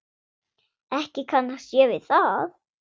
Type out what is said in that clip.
Ekki kannast ég við það.